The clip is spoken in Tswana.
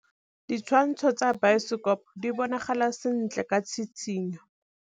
Ditshwantshô tsa biosekopo di bonagala sentle ka tshitshinyô.